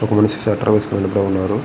ఒక మనిషి స్వెట్టర్ వేసుకుని వెలుతూ ఉన్నారు.